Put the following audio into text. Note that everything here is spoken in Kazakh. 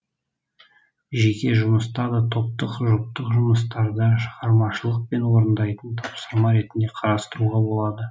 жеке жұмыста да топтық жұптық жұмыстарда шығармашылықпен орындайтын тапсырма ретінде қарастыруға болады